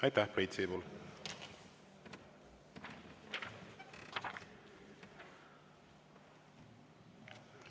Aitäh, Priit Sibul!